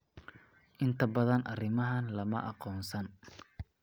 Inta badan arrimahan lama aqoonsan.